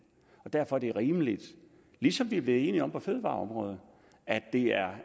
derfor er det rimeligt ligesom vi er blevet enige om på fødevareområdet at det er